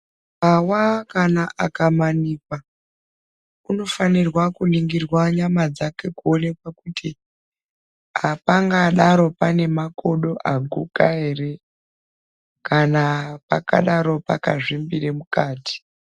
Muntu akawa kana akamanikwa unofanire kuningirwa nyama dzake kuonekwa kuti apangadaro pane makodo aguka ere kana pakadaro pakazvimbira mukati.